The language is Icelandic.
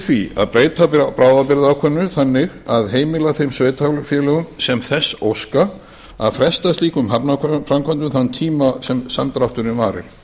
því að breyta bráðabirgðaákvæðinu þannig að heimila þeim sveitarfélögum sem þess óska að fresta slíkum hafnarframkvæmdum þann tíma sem samdrátturinn varir